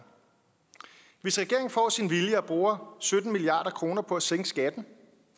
hvis regeringen får sin vilje og bruger sytten milliard kroner på at sænke skatten